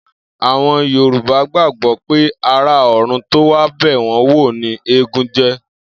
Àwo̩n Yorùbá gbàgbó̩ pé ará ò̩run tó wá bè̩ wó̩n wò ni eégún jé̩